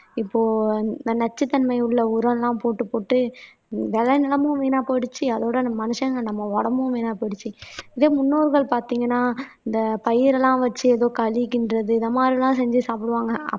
இப்போ இந்த நச்சுத்தன்மை உள்ள உரம் எல்லாம் போட்டு போட்டு விளைநிலமும் வீணா போயிடுச்சு அதோட அந்த மனுஷங்க நம்ம உடம்பும் வீணா போயிடுச்சு இதே முன்னோர்கள் பாத்தீங்கன்னா இந்த பயிர் எல்லாம் வச்சு ஏதோ களி கிண்டுறது இந்த மாதிரி எல்லாம் செஞ்சு சாப்பிடுவாங்க அப்